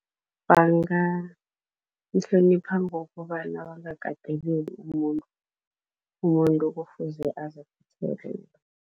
Bangamhlonipha ngokobana bangakateleli umuntu, umuntu kufuze